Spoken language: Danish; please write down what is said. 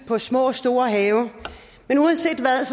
på små og store have men uanset hvad